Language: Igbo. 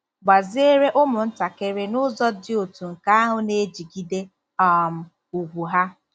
Gbaziere ụmụntakịrị n'ụzọ dị otú nke ahụ na-ejigide um ùgwù ha